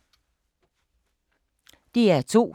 DR2